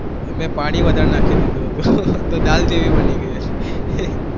મેં પાણી વધારે નાખી દીધું હતું, તો દાળ જેવી બની ગઈ હશે.